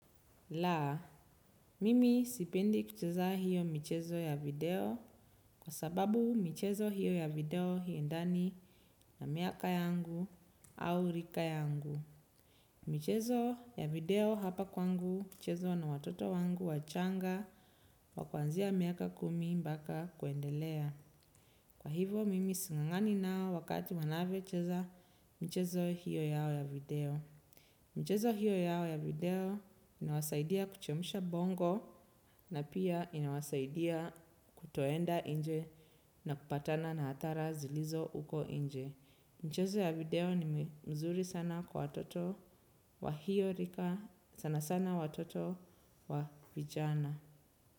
Laa, mimi sipindi kucheza hio michezo ya video, kwa sababu michezo hio ya video haiendani na miaka yangu au rika yangu. Michezo ya video hapa kwangu, huchezwa na watoto wangu wachanga, wa kwanzia miaka kumi mpaka kuendelea. Kwa hivo mimi singangani nao wakati wanavyocheza michezo hio yao ya video. Mchezo hio yao ya video inawasaidia kuchemsha bongo na pia inawasaidia kutoenda nje na kupatana na adhara zilizo huko nje. Michezo ya video ni mzuri sana kwa watoto wa hio rika sana sana watoto wa vijana.